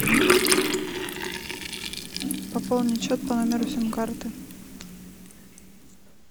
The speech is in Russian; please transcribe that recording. пополнить счет по номеру сим карты